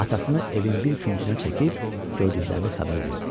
Atasını evin bir küncünə çəkib gördüklərini xəbər verdi.